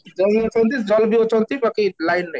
ଜମି ଅଛନ୍ତି ଜନ ବି ଅଛନ୍ତି ବାକି line ନାହିଁ